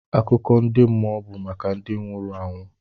Akụkọ ndị mmụọ bụ maka ndị nwụrụ anwụ.